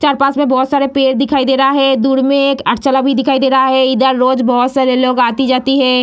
चार-पाँच में बहुत सारे पेड़ दिखाई दे रहा हैं दूर में एक भी दिखाई दे रहा है इधर रोज बहुत सारे लोग आते-जाते हैं ।